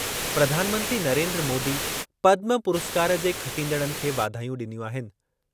प्रधानमंत्री नरेन्द्र मोदी पद्म पुरस्कार जे खटींदड़नि खे वाधायूं ॾिनियूं आहिनि।